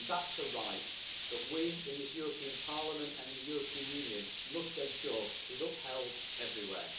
That's a right that we in this European Parliament and in the European Union must ensure is upheld everywhere.